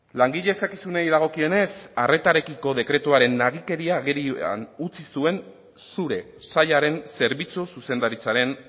langile eskakizunei dagokionez arretarekiko dekretuaren nagikeria agerian utzi zuen zure sailaren zerbitzu zuzendaritzaren